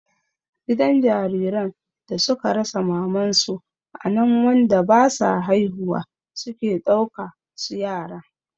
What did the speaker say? Gidan jariran da suka rasa mamansu anan wanda basa haihuwa suke ɗauka su yara